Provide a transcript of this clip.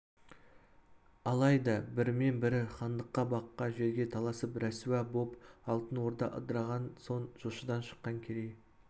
алайда бірімен бірі хандыққа баққа жерге таласып рәсуа боп алтын орда ыдырағаннан соң жошыдан шыққан керей